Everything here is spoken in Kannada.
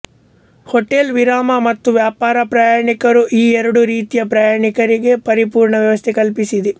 ಹೋಟೆಲ್ ವಿರಾಮ ಮತ್ತು ವ್ಯಾಪಾರ ಪ್ರಯಾಣಿಕರು ಈ ಎರಡೂ ರೀತಿಯ ಪ್ರಯಾಣಿಕರಿಗೆ ಪರಿಪೂರ್ಣ ವ್ಯವಸ್ತೆ ಕಲ್ಪಿಸಿದೆ